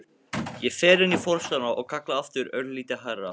Ég fer inn í forstofuna og kalla aftur, örlítið hærra.